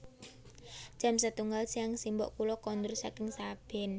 Jam setunggal siang simbok kula kondur saking sabin